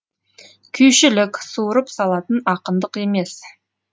күйшілік суырып салатын ақындық емес